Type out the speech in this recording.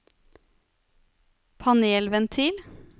panelventil